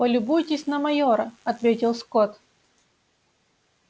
полюбуйтесь на майора ответил скотт